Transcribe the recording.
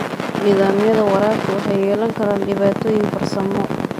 Nidaamyada waraabka waxay yeelan karaan dhibaatooyin farsamo.